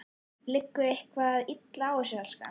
Liggur eitthvað illa á þér, elskan?